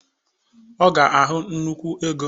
Ọ ga ahụ nnukwu ego